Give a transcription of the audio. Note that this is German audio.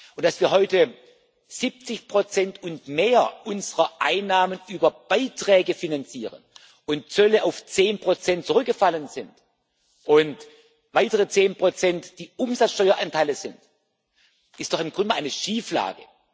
Und dass wir heute 70 und mehr unserer Einnahmen über Beiträge finanzieren und Zölle auf 10 zurückgefallen sind und weitere 10 die Umsatzsteueranteile sind, ist doch im Grunde eine Schieflage.